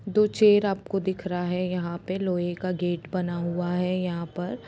दो चेयर आपको दिख रहा है यंहा पे लोहे का गेट बना हुआ है यहाँ पर --